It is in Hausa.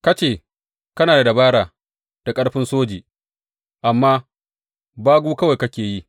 Ka ce kana da dabara da ƙarfin soji, amma bagu kawai kake yi.